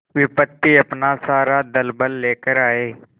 विपत्ति अपना सारा दलबल लेकर आए